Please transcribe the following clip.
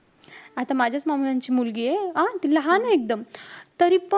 आता माझ्याच मामांची मुलगीये. ती लहाने एकदम. तरीपण,